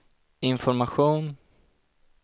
information